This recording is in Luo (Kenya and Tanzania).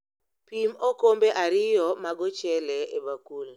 Pim okombe ariyo mag ochele e bakul